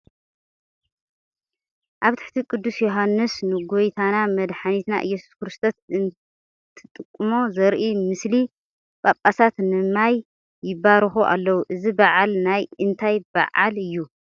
ኣብ ትሕቲ ቅዱስ ዮሃንስ ንጐይታናን መድሓኒትናን ኢየሱስ ክርስቶስ እንተጥምቖ ዘርኢ ምስሊ ጳጳሳት ንማይ ይባርኹ ኣለዉ፡፡ እዚ በዓል ናይ እንታይ በዓል እዩ?